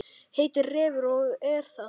Heitir Refur og er það.